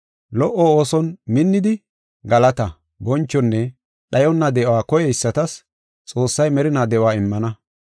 Lo77o ooson minnidi, galataa, bonchonne dhayonna de7uwa koyeysatas Xoossay merinaa de7uwa immana.